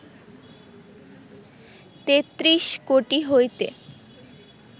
তেত্রিশ কোটি হইতে